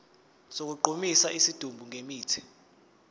sokugqumisa isidumbu ngemithi